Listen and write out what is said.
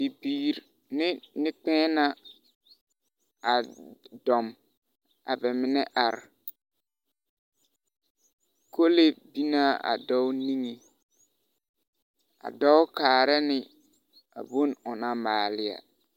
Bibiir ne nekpɛ̃ɛ̃ na a dɔm, a bɛ menɛ ar. Kolee bin na a dɔɔ niŋe, a dɔɔ kaara ne a bon o na maale'a.